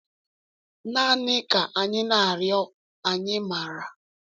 Naanị Ka Anyị Na-arịọ Anyị Maara.